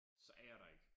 Så er jeg der ik